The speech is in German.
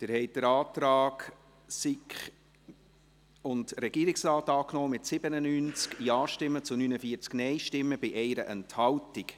Sie haben den Antrag von SiK und Regierung angenommen, mit 97 Ja- gegen 49 NeinStimmen bei 1 Enthaltung.